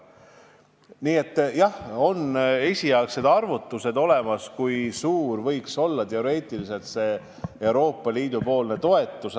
Nii et jah, on olemas esialgsed arvutused, kui suur võiks teoreetiliselt olla Euroopa Liidu toetus.